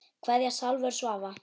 Kveðja Salvör Svava.